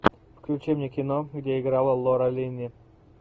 включи мне кино где играла лора линни